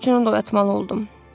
Qulluqçunu da oyatmalı oldum.